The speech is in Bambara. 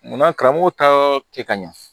Munna karamɔgɔ ta kɛ ka ɲa